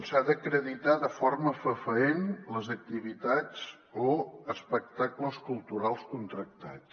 s’ha d’acreditar de forma fefaent les activitats o espectacles culturals contractats